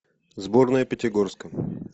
сборная пятигорска